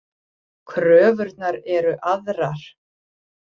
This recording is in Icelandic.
Kröfurnar eru aðrar.